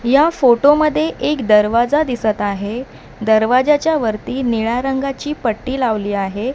या फोटो मध्ये एक दरवाजा दिसत आहे दरवाज्याच्या वरती निळ्या रंगाची पट्टी लावली आहे.